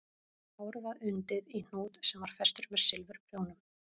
Hárið var undið í hnút sem var festur með silfurprjónum